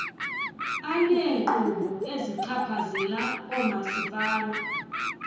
aneenkqubo ezichaphazela oomasipala